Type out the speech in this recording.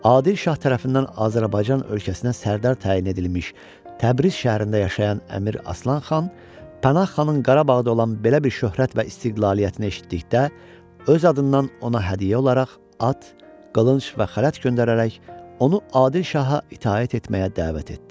Adil şah tərəfindən Azərbaycan ölkəsinə sərdar təyin edilmiş, Təbriz şəhərində yaşayan Əmir Aslan xan Pənah xanın Qarabağda olan belə bir şöhrət və istiqlaliyyəti eşitdikdə, öz adından ona hədiyyə olaraq at, qılınc və xələt göndərərək onu Adil şaha itaət etməyə dəvət etdi.